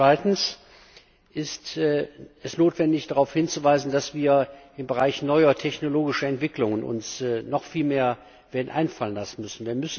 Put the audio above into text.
Zweitens ist es notwendig, darauf hinzuweisen, dass wir uns im Bereich neuer technologischer Entwicklungen noch viel mehr werden einfallen lassen müssen.